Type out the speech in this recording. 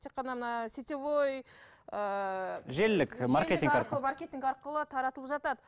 тек қана мына сетевой ыыы желілік маркетинг арқылы таратып жатады